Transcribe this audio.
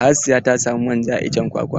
Hasiya ta samu manja a iccen kwakwa.